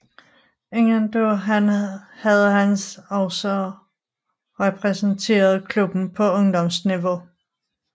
Inden da havde han også repræsenteret klubben på ungdomsniveau